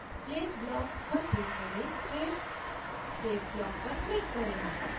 place block पर click करें फिर save block पर click करें